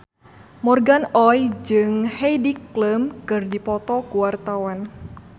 Morgan Oey jeung Heidi Klum keur dipoto ku wartawan